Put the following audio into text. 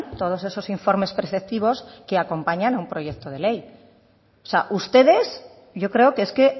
todos esos informes preceptivos que acompañan a un proyecto de ley o sea ustedes yo creo que es que